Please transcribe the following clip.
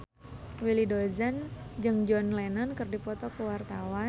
Willy Dozan jeung John Lennon keur dipoto ku wartawan